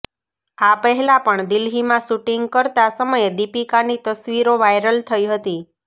આ પહેલા પણ દિલ્હીમાં શૂટિંગ કરતા સમયે દીપિકાની તસવીરો વાયરલ થઈ હતી